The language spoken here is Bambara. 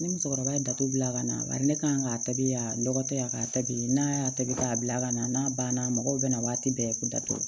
Ni musokɔrɔba dato bila ka na bari ne kan k'a tabi ya dɔgɔtɔ ya ka taabi n'a y'a tabi k'a bila ka na n'a banna mɔgɔw bɛna waati bɛɛ datugu